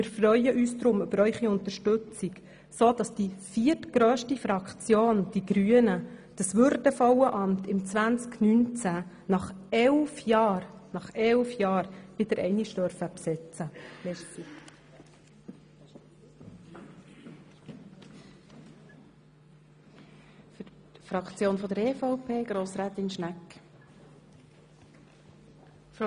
Wir freuen uns deshalb über Ihre Unterstützung, sodass die viertgrösste Fraktion, die Grünen, dieses würdevolle Amt im Jahr 2019, nach elf Jahren, wieder einmal besetzen darf.